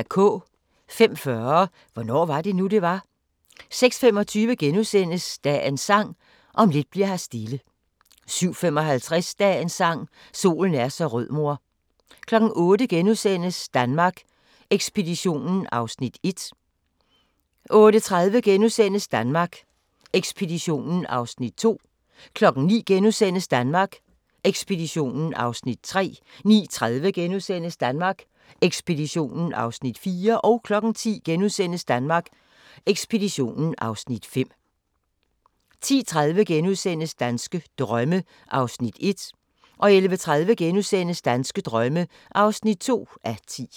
05:40: Hvornår var det nu, det var? 06:25: Dagens Sang: Om lidt bli'r her stille * 07:55: Dagens Sang: Solen er så rød mor 08:00: Danmark Ekspeditionen (Afs. 1)* 08:30: Danmark Ekspeditionen (Afs. 2)* 09:00: Danmark Ekspeditionen (Afs. 3)* 09:30: Danmark Ekspeditionen (Afs. 4)* 10:00: Danmark Ekspeditionen (Afs. 5)* 10:30: Danske drømme (1:10)* 11:30: Danske drømme (2:10)*